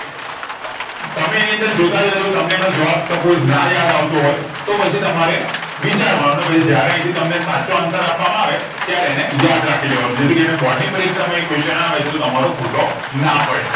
તમે એની અંદર જોતા જાજો તમને એનો જવાબ suppose ના યાદ આવ તો હોય તો પછી તમારે વિચાર વા નો ને પછી જયારે આયથી તમને સાચો answer આપવા માં આવે તયારે અને યાદ રાખી લેવા નો જેથી કરી ને બોર્ડ ની પરીક્ષા માં એ question આવે છે તો તમારો ખોટો ના પાડે